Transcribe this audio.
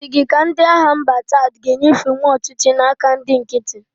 Ọ dị gị ka ndị agha mba Chad a g'enyefenwu ọchịchị na-aka ndị nkiti.